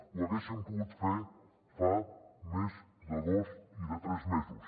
ho haguessin pogut fer fa més de dos i de tres mesos